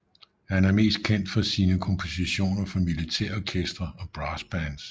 Han er mest kendt for sine kompositioner for militærorkestre og brassbands